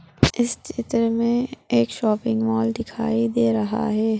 इस चित्र में एक शॉपिंग मॉल दिखाई दे रहा है।